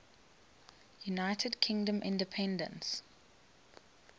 united kingdom independence